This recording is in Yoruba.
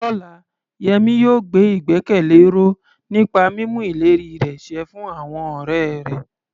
Lọ́la, Yemi yóò gbé ìgbẹ́kẹ̀lé ró nípa mímú ìlérí rẹ̀ ṣẹ fún àwọn ọ̀rẹ́ rẹ̀.